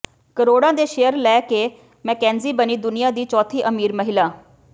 ਕਰੋੜਾਂ ਦੇ ਸ਼ੇਅਰ ਲੈ ਕੇ ਮੈਕੇਂਜੀ ਬਣੀ ਦੁਨੀਆ ਦੀ ਚੌਥੀ ਅਮੀਰ ਮਹਿਲਾ